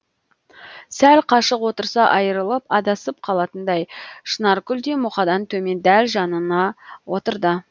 сәл қашық отырса айрылып адасып қалатындай шынаркүл де мұқадан төмен дәл жанына отырды